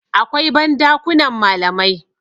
akwai ban dakunan malamai